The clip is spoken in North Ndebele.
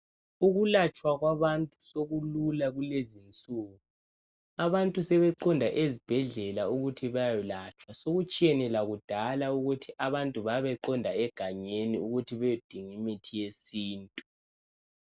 Ukulatshwakwabantu sekulula kulezi insuku. Abantu sebeqonda ezibhedlela ukuthi beyokwelatshwa. Sekutshiyene lakudala ukuthi abantu ababeqonda enganeni ukuthi beyedinga imithi yesintu.